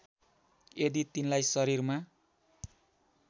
यदि तिनलाई शरीरमा